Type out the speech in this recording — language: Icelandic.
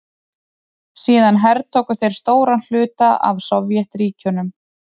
Síðan hertóku þeir stóran hluta af Sovétríkjunum.